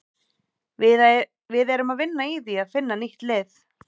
Við erum að vinna í því að finna nýtt lið.